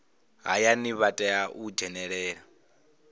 hayani vha tea u dzhenelela